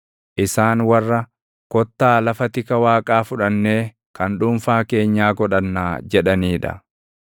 isaan warra, “Kottaa, lafa tika Waaqaa fudhannee kan dhuunfaa keenyaa godhannaa” jedhanii dha.